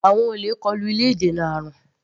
Àwọn olè kọlu ilé ìdènà àrùn.